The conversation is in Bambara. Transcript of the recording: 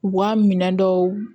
U ka minɛ dɔw